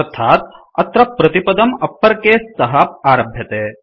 अर्थात् अत्र प्रतिपदम् अप्पर केस तः आरभ्यते